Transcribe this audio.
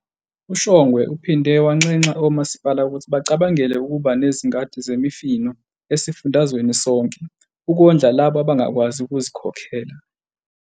UShongwe uphinde wanxenxa omasipala ukuthi bacabangele ukuba nezingadi zemifino esifundazweni sonke "ukondla labo abangakwazi ukuzikhokhela".